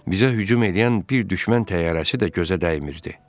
Bizə hücum eləyən bir düşmən təyyarəsi də gözə dəymirdi.